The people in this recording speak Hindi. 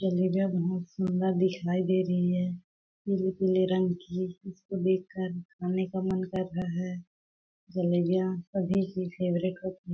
जलेबियाँ बहुत सुन्दर दिखाई दे रही है पीले पीले रंग की जिसको देख कर खाने का मन कर रहा है जलेबियाँ सभी की फेवरेट होती--